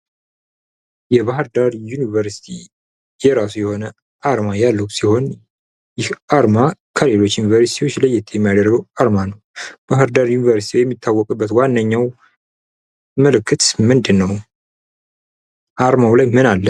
የባህር ዳር ዩኒቨርስቲ የራሱ የሆነ አርማ ያለው ሲሆን ዓርማ ክልሎች ዩኒቨርሲቲዎች ለየት የሚያደርገው አርማ ነው። ባህር ዳር ዩኒቨርስቲ የሚታወቅበት ዋነኛው ምልክት ምንድነው አርማ ላይ ምን አለ?